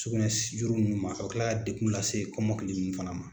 Sugunɛ juru ninnu ma o bɛ kila ka degun lase kɔmɔkili ninnu fana ma.